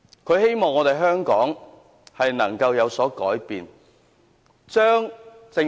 他希望香港能夠有所改變。